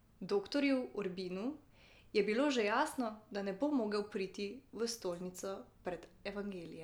Doktorju Urbinu je bilo že jasno, da ne bo mogel priti v stolnico pred evangelijem.